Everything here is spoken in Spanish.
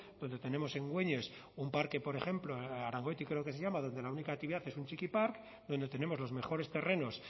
donde tenemos en güeñes un parque por ejemplo arangoiti creo que se llama donde la única actividad es un txikipark donde tenemos los mejores terrenos